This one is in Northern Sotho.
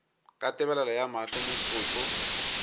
ka tebelego ya mahlo motsotso